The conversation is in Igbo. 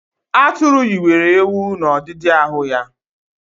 Atụru yiwere ewu n'ọdidi ahụ ya